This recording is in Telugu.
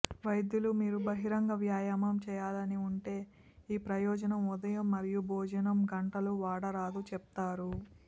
వైద్యులు మీరు బహిరంగ వ్యాయామం చేయాలని ఉంటే ఈ ప్రయోజనం ఉదయం మరియు భోజనం గంటలు వాడరాదు చెప్తారు